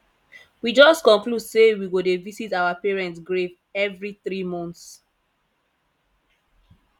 we just conclude say we go dey visit our parent grave every three months